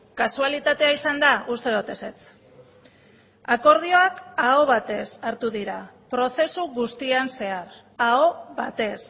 kasualitatea izan da uste dut ezetz akordioak aho batez hartu dira prozesu guztian zehar aho batez